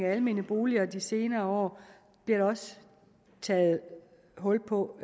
almene boliger i de senere år bliver der også taget hul på